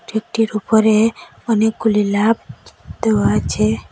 কেকটির উপরে অনেকগুলি লাভ দেওয়া আছে।